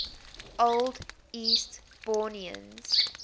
old eastbournians